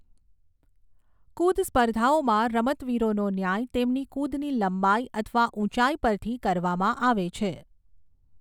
કુદ સ્પર્ધાઓમાં, રમતવીરોનો ન્યાય તેમની કુદની લંબાઈ અથવા ઊંચાઈ પરથી કરવામાં આવે છે.